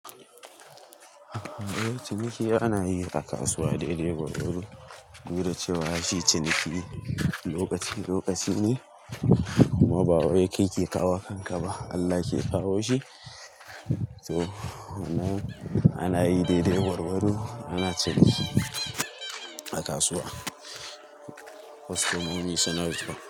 Eh, ciniki ana yi a kasuwa daidai gwargwaro. Duda cewa shi ciniki lokaci lokaci ne, kuma ba wai kai ke kawo wa kanka ba, Allah ke kawo shi. To, wannan ana yi daidai gwargwar do ana ciniki a kasuwa. Kwasto momi suna zuwa.